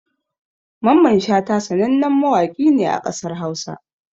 Mamman Shata sanannen mawaƙi ne a ƙasar Hausa